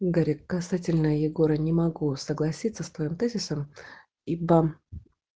гарик касательно егора не могу согласиться с твоим тезисом ибо